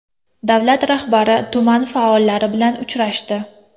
Davlar rahbari tuman faollari bilan uchrashdi .